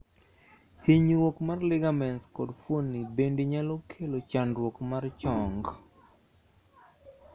hinyruok mar ligaments kod fuoni bande nyalo kelo chandruok mar chong